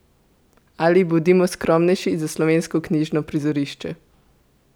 Ali, bodimo skromnejši, za slovensko knjižno prizorišče?